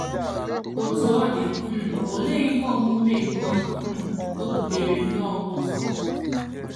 Otú ọ dị, um olee ihe omume nke o um butere nnọọ ụzọ?